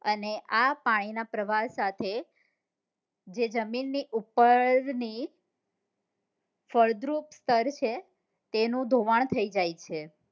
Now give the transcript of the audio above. અને આ પાણી ના પ્રવાહ સાથે જે જમીન ની ઉપ્પર ની ફળદ્રુપ સ્તર છે તેનું ધોવાણ થઇ જાય છે